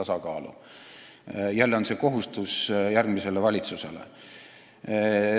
Jälle jääb kohustus järgmisele valitsusele.